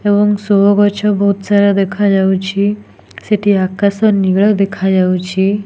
ଏବଂ ସୋ ଗଛ ବହୁତ୍ ସାରା ଦେଖାଯାଉଛି। ସେଠି ଆକାଶ ନୀଳ ଦେଖାଯାଉଛି।